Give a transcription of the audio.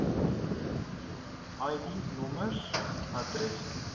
id nommers adresse